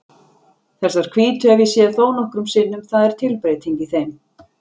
Þessar hvítu hef ég séð þónokkrum sinnum, það er tilbreyting í þeim.